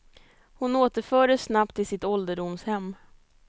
Hon återfördes snabbt till sitt ålderdomshem.